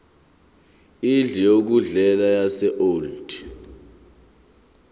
indlu yokudlela yaseold